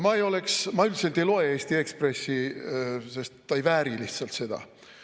Ma üldiselt ei loe Eesti Ekspressi, sest ta ei vääri seda.